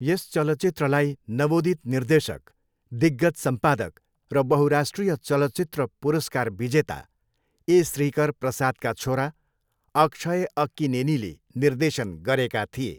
यस चलचित्रलाई नवोदित निर्देशक, दिग्गज सम्पादक र बहुराष्ट्रिय चलचित्र पुरस्कार विजेता ए श्रीकर प्रसादका छोरा अक्षय अक्किनेनीले निर्देशन गरेका थिए।